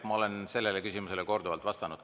Ma olen sellele küsimusele korduvalt vastanud.